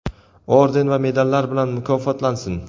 orden va medallar bilan mukofotlansin:.